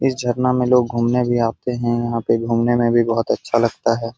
इस झरना में लोग घूमने भी आते हैं यहाँ पे घूमने में भी बहोत अच्छा लगता है।